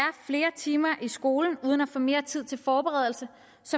flere timer i skolen uden at få mere tid til forberedelse